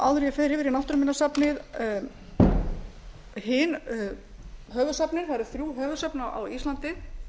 fer yfir í náttúruminjasafnið hin höfuðsöfnin það eru þrjú höfuðsöfn á íslandi